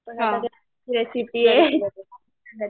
recipe आहे